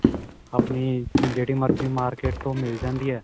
ਆਪਣੀ ਜਿਹੜੀ ਮਰਜੀ ਮਾਰਕੀਟ ਤੋਂ ਮਿਲ ਜਾਂਦੀ ਏ